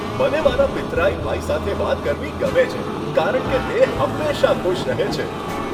મને મારા પિતરાઈ ભાઈ સાથે વાત કરવી ગમે છે કારણ કે તે હંમેશાં ખુશ રહે છે.